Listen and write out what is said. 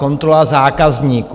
Kontrola zákazníků.